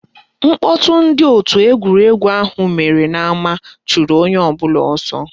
Mkpọtụ ndị òtù egwuregwu ahụ mere n'ama chụrụ onye ọbụla ọsọ